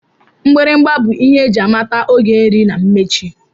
Mgbịrịgba bụ ihe eji amata oge nri na mmechi